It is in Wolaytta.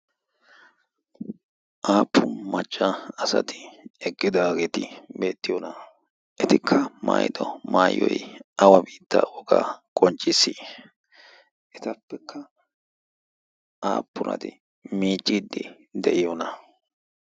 aappu macca asati eggidaageeti beettiyoona etikka maayido maayiyoi awa biitta wogaa qoncciis etappekka aappurati miicciiddi de'iyoona